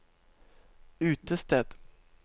utested